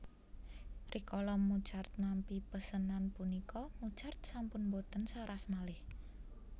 Rikala Mozart nampi pesenan punika Mozart sampun boten saras malih